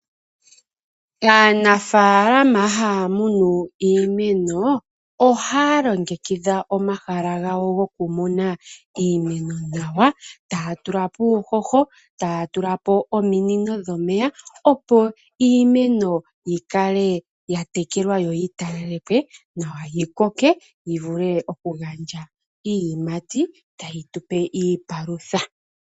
Aanafalama haya munu iimeno ohaya longekidha omahala gawo gokumuna iimeno nawa , taya tulapo uuhoho, taya tulapo ominino dhomeya opo iimeno yikale ya tekelwa yo yitalalekwe nawa yikoke yi vule okugandja iiyimati tayi tupe iipalutha.